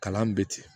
Kalan bɛ ten